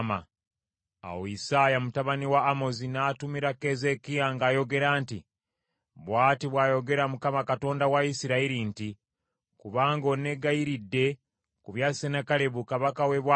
Awo Isaaya mutabani wa Amozi n’atumira Keezeekiya ng’ayogera nti, “Bw’ati bw’ayogera Mukama Katonda wa Isirayiri nti, Kubanga onneegayiridde ku bya Sennakeribu kabaka w’e Bwasuli,